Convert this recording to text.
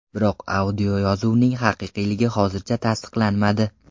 Biroq audioyozuvning haqiqiyligi hozircha tasliqlanmadi.